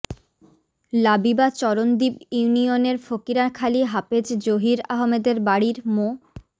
লাবিবা চরণদ্বীপ ইউনিয়নের ফকিরাখালী হাফেজ জহির আহমেদের বাড়ির মো